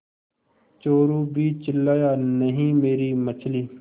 चोरु भी चिल्लाया नहींमेरी मछली